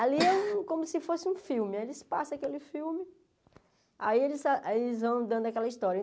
Ali é um como se fosse um filme, eles passam aquele filme, aí eles va aí eles vão dando aquela história.